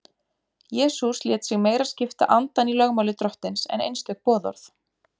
Jesús lét sig meira skipta andann í lögmáli Drottins en einstök boðorð.